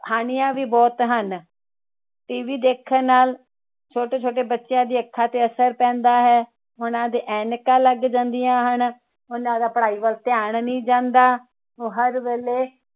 ਹਾਣੀਆਂ ਵੀ ਬਹੁਤ ਹਨ tv ਦੇਖਣ ਨਾਲ ਛੋਟੇ ਛੋਟੇ ਬੱਚਿਆਂ ਦੀਆ ਅੱਖਾਂ ਤੇ ਅਸਰ ਪੈਂਦਾ ਹੈ ਉੰਨਾ ਦੇ ਐਨਕਾਂ ਲੱਗ ਜਾਂਦੀਆਂ ਹਨ ਉੰਨਾ ਦਾ ਪੜਾਈ ਵੱਲ ਧਿਆਨ ਨਹੀਂ ਜਾਂਦਾ ਉਹ ਹਰ ਵੇਲੇ